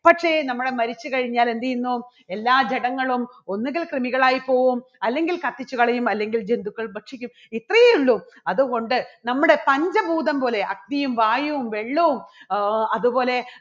പക്ഷേ നമ്മള് മരിച്ചു കഴിഞ്ഞാൽ എന്ത് ചെയ്യുന്നു? എല്ലാ ജഡങ്ങളും ഒന്നെങ്കിൽ കൃമികൾ ആയി പോകും അല്ലെങ്കിൽ കത്തിച്ചു കളയും അല്ലെങ്കിൽ ജന്തുക്കൾ ഭക്ഷിക്കും. ഇത്രയേ ഉള്ളൂ അതുകൊണ്ട് നമ്മുടെ പഞ്ചഭൂതം പോലെ അഗ്നിയും, വായുവും, വെള്ളവും ആഹ് അതുപോലെ